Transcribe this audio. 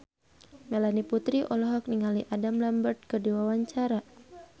Melanie Putri olohok ningali Adam Lambert keur diwawancara